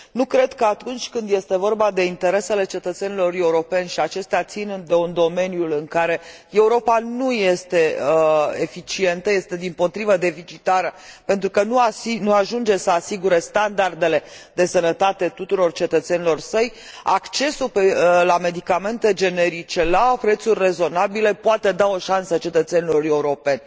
Nu cred că atunci când este vorba de interesele cetățenilor europeni și acestea țin de un domeniu în care Europa nu este eficientă, este dimpotrivă deficitară, pentru că nu ajunge să asigure standardele de sănătate tuturor cetățenilor săi, accesul la medicamente generice la prețuri rezonabile poate da o șansă cetățenilor europeni.